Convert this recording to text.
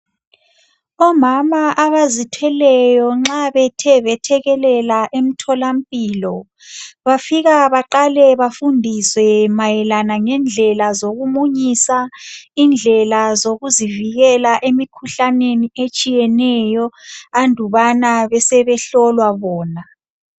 Omama abazithweleyo nxa bethe bethekelela emtholampilo, bafika baqale bafundiswe mayelana ngendlela zokumunyisa, indlela zokuzivikela emkhuhlaneni etshiyeneyo andubana besebehlolwa bona.